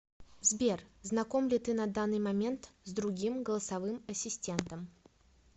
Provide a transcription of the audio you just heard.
сбер знаком ли ты на данный момент с другим голосовым ассистентом